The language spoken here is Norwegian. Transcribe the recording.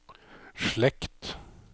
slekt